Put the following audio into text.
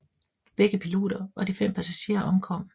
Begge piloter og de fem passagerer omkom